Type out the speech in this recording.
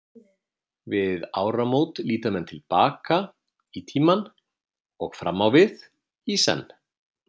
Við áramót líta menn til baka í tímann og fram á við, í senn.